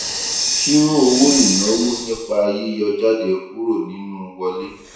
ṣírò owó ináwó nípa yíyọ jáde kúrò nínú wọlé